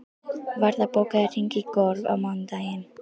Varða, bókaðu hring í golf á mánudaginn.